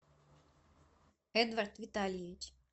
эдвард витальевич